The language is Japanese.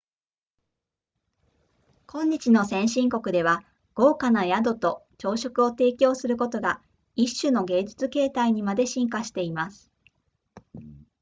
今日の先進国では豪華な宿と朝食を提供することが一種の芸術形態にまで進化しています